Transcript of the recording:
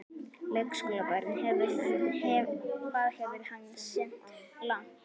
Leikskólabörn: Hvað hefur hann synt langt?